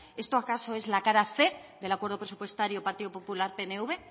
esto acaso es la cara cien del acuerdo presupuestario partido popular pnv